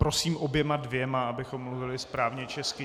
Prosím oběma dvěma, abychom mluvili správně česky.